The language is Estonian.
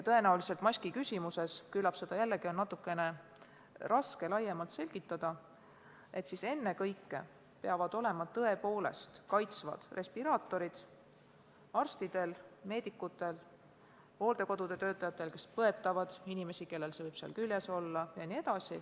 Tõenäoliselt on maskiküsimuses nii – seda on jälle natuke raske laiemalt selgitada –, et ennekõike peavad kaitsvad respiraatorid olema arstidel ja teistel meedikutel, sh hooldekodude töötajatel, kes põetavad inimesi, kellel see viirus võib küljes olla.